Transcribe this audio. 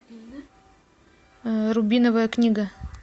рубиновая книга